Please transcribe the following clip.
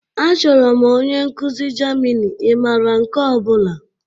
Achọrọ m onye nkuzi Germini, ị maara nke ọ bụla?